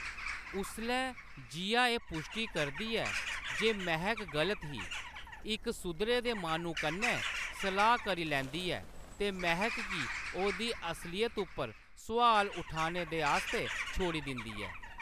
उसलै जिया, एह्‌‌ पुश्टी करदी ऐ जे महक गलत ही, इक सुधरे दे मनु कन्नै सलाह् करी लैंदी ऐ, ते महक गी ओह्‌‌‌दी असलियत उप्पर सुआल उठाने दे आस्तै छोड़ी दिंदी ऐ।